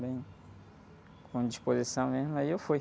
Bem... Com disposição mesmo, aí eu fui.